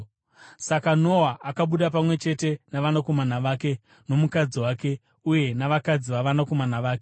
Saka Noa akabuda, pamwe chete navanakomana vake nomukadzi wake uye navakadzi vavanakomana vake.